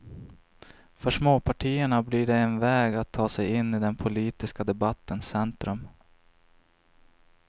För småpartierna blir det en väg att ta sig in i den politiska debattens centrum.